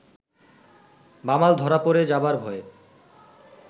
বামাল ধরা পড়ে যাবার ভয়ে